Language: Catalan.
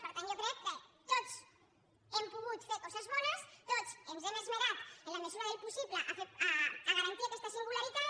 per tant jo crec que tots hem pogut fer coses bones tots ens hem esmerat en la mesura del possible a garantir aquesta singularitat